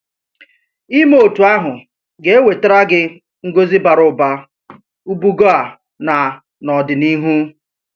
Ìme otú ahụ ga-ewetara gị ngọzi bara ụba, ùbùgọ̀ a na n’ọdịnihu.